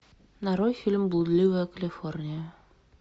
нарой фильм блудливая калифорния